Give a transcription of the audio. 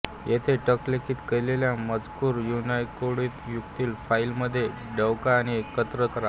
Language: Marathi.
इथे टंकलिखित केलेला मजकूर युनिकोडयुक्त फाईलमधे डकवा आणि एकत्र करा